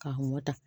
K'a mɔ ta